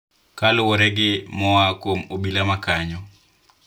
Kaluwore gi moa kuom obila ma kanyo,